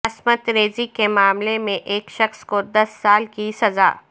عصمت ریزی کے معاملے میں ایک شخص کو دس سال کی سزا